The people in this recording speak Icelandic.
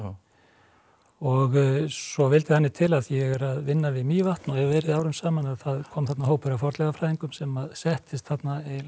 og svo vildi þannig til af því ég er að vinna við Mývatn og hef verið árum saman að það kom þarna hópur af fornleifafræðingum sem settist þarna eiginlega